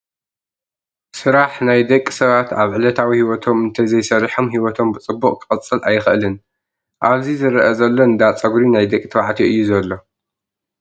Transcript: ስራሕ ናይ ደቂ ሰባት ኣብ ዕለታዊ ሂዎቶም እንተዘይሰሪሖም ሂወቶም ብፅቡቅ ክቅፅል ኣይክእል። ኣብዚ ዝረኣ ዘሎ እንዳ-ፀጉሪ ናይ ደቂ ተባዕትዮ እዩ ዘሎ።